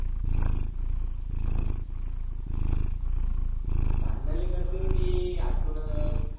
भांडण लय करते रे ते हडकुंच